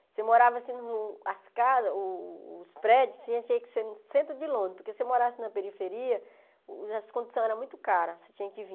Você morava assim, as casas, o os prédios, tinha que ser no centro de Londres, porque se você morasse na periferia, as condições eram muito caras, você tinha que vir.